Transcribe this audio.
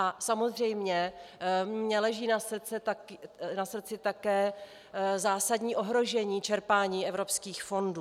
A samozřejmě mi leží na srdci také zásadní ohrožení čerpání evropských fondů.